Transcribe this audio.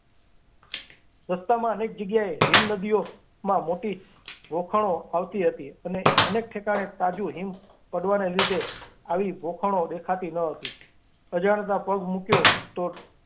રસ્તામાં અનેક જગ્યાએ હિમનદીઓમાં મોટી ખોભણો આવતી હતી અને અનેક ઠેકાણે તાજ હિમ પડવાને લીધે આવી ખોભણો દેખાતી ન હતી સંજાણતાં પગ મુકાયો તો.